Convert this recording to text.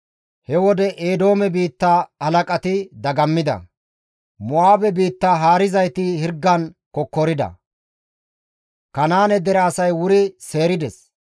He wode Eedoome biitta halaqati dagammida. Mo7aabe biitta haarizayti hirgan kokkorida. Kanaane dere asay wuri seerides.